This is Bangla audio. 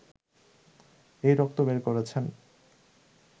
এই রক্ত বের করছেন!